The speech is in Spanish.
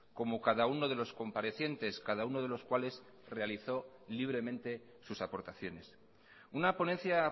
como cada uno de los comparecientes cada uno de los cuales realizó libremente sus aportaciones una ponencia